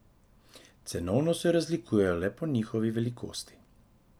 Cenovno se razlikujejo le po njihovi velikosti.